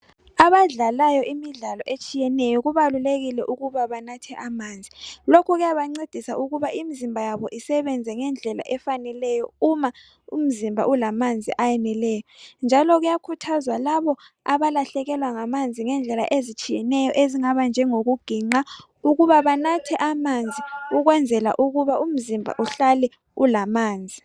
abadlalayo imidlalo etshiyeneyo kubalulekile ukuba banathe amanzi lokhu kuyabancedisa ukuba imizimba yabo isebenze ngendlela efaneleyo uma umzimba ulamanzi ayeneleyo njalo kuyakhuthazwa labo abalahlekelwa ngamanzi ngendlela ezitshiyeneyo ezingaba njengokuginqa ukuba banathe amanzi ukwenzela ukuba umzimba uhlale ulamanzi